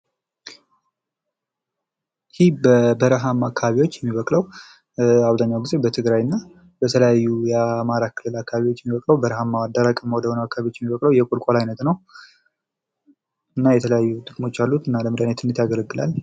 ይህ በበረሃማ አከባቢዎች የሚበቅለዉ፣ አብዘሃኛውን ጊዜ በትግራይ እና በተለያዩ የአማራ ክልል አከባቢዎች የሚበቅለው በረሃማ፣ ደረቅ ወደሆኑ አከባቢዎች የሚበቅለዉ የቁልቁዋል አይነት ነው ፤ እና የተለያዩ ጥቅሞች አሉት ፣ ለመድሃኒትነት ያገለግላል።